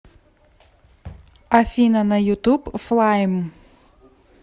афина на ютуб флайм